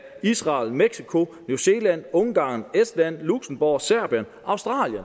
israel mexico new zealand ungarn estland luxembourg serbien australien